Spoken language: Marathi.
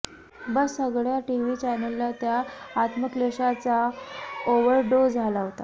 बस्स सगळ्या टीव्ही चॅनलला त्या आत्मक्लेशाचा ओव्हरडोस झाला होता